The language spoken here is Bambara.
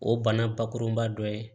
O bana bakurunba dɔ ye